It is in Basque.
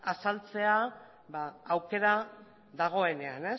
azaltzea aukera dagoenean